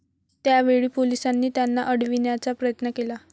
त्या वेळी पोलिसांनी त्यांना अडविण्याचा प्रयत्न केला.